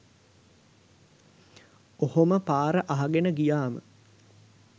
ඔහොම පාර අහගෙන ගියාම